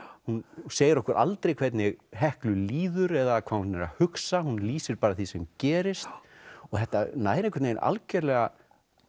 hún segir okkur aldrei hvernig Heklu líður eða hvað hún er að hugsa hún lýsir bara því sem gerist og þetta nær algjörlega